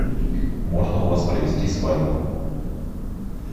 можно у вас провести свадьбу